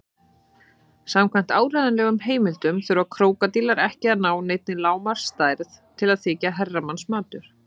Samkvæmt áreiðanlegum heimildum þurfa krókódílar ekki að ná neinni lágmarksstærð til að þykja herramannsmatur.